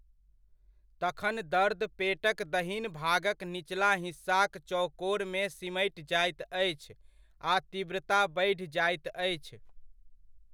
तखन दर्द पेटक दहिन भागक निचला हिस्साक चौकोरमे सिमटि जाइत अछि आ तीव्रता बढ़ि जाइत अछि।